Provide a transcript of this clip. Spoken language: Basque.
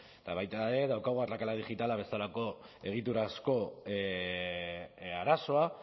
eta baita ere daukagu arrakala digitala bezalako egiturazko arazoa